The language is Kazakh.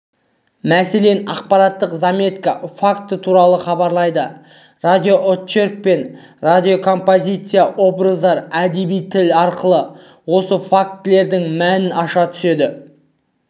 мәселен ақпараттық заметка факті туралы хабарлайды радиоочерк пен радиокомпозиция образдар әдеби тіл арқылы осы фактілердің мәнін аша түседі